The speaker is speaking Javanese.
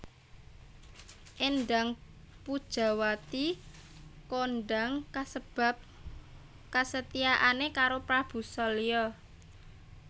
Éndang Pujawati kondang kasebab kesetiaane karo Prabu Salya